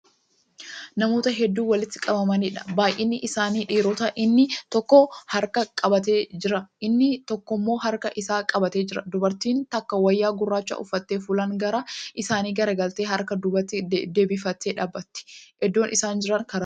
Namoota hedduu walitti qabamaniidha. Baayinni isaanii dhiirota. inni tokko muka harkaan qabatee Jira, inni tokkommo harka Isaa qabatee jira. Dubartiin takka wayyaa gurraacha uffattee fuulaan gara isaanii garagaltee harka dubatti deebifattee dhaabbatti. Iddoon isaan Jira karaarra.